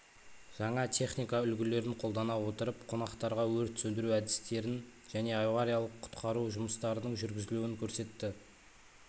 жаңа техника үлгілерін қолдана отырып қонақтарға өрт сөндіру әдістерін және авариялық құтқару жұмыстарының жүргізілуін көрсетті